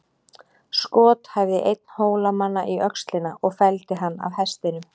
Skot hæfði einn Hólamanna í öxlina og felldi hann af hestinum.